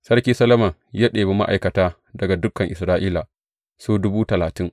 Sarki Solomon ya ɗebi ma’aikata daga dukan Isra’ila, su dubu talatin.